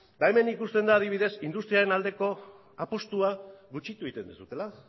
ba hemen ikusten da adibidez industriaren aldeko apustua gutxitu egiten duzuela